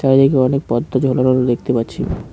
অনেক পর্দা ঝোলানো দেখতে পাচ্ছি।